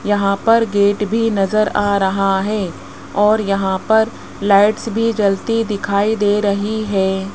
यहां पर गेट भी नज़र आ रहा हैं और यहां पर लाइट्स भी जलती दिखाई दे रही हैं।